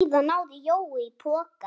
Síðan náði Jói í poka.